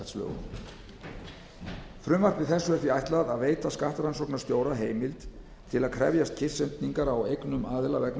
virðisaukaskattslögum frumvarpi þessu er því ætlað að veita skattrannsóknastjóra heimild til að krefjast kyrrsetningar á eignum aðila vegna